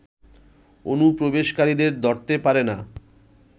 অনুপ্রবেশকারীদের ধরতে পারে না